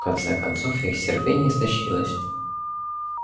в конце концов их терпение истощилось